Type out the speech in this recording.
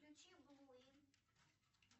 включи